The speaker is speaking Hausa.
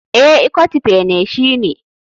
Eh, ikot ekpene shine.